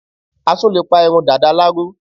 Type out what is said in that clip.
a tún lè pa irun Dàda láró